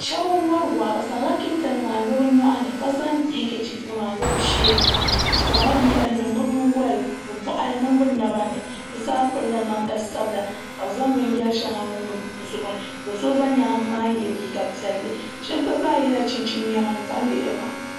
Shab n wori waa bi zaŋla kɛntɛ nima n lo bi nyoɣani ka zaŋ hɛnkɛchiif nima n lo bi sheeni bi zaŋla yɛri n niŋ bi boɣari mini bi naba ni bi zaa pirila namdi sabila ka bi zaŋ binyɛri shɛŋa niŋ bi zuɣu ni do so za nyaangi maa yɛ liiga piɛlli shab gba zaa yɛla chinchini niɛma n ʒɛ n lihiri ba